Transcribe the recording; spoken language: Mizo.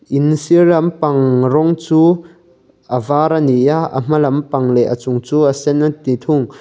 in sir lam pang rawng chu a vâr a ni a a hma lam pang leh a chung chu a sen a ti thung.